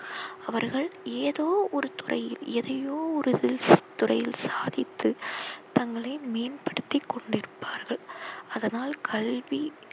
அவர்கள் ஏதோ ஒரு துறையில் எதையோ ஒரு துறையில் சாதித்து தங்களை மேன்படுத்தி கொண்டிருப்பார்கள். அதனால் கல்வி